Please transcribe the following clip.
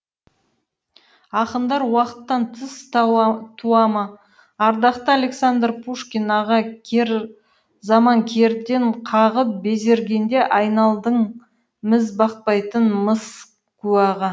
ақындар уақыттан тыс туа ма ардақты александр пушкин аға кер заман кердең қағып безергенде айналдың міз бақпайтын мыс куәға